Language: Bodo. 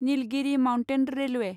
Nilgiri mountain railway